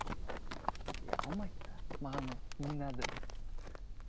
иә алмайды да маған ол не надо да